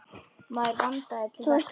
Maður vandaði til verka.